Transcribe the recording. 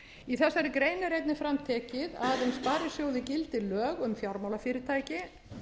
í þessari grein er einnig fram tekið að um sparisjóði gildi lög um fjármálafyrirtæki